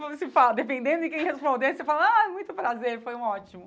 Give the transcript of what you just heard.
Porque você fala, dependendo de quem respondesse, você fala, ah, muito prazer, foi um ótimo.